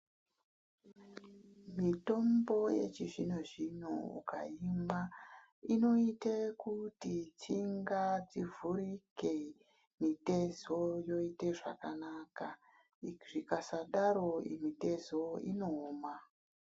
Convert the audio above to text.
Mitombo yechizvino zvino ukaimwa inoite kuti tsinga dzivhurike mitezo yoite zvakanaka zvikasadaro mitezo inooma.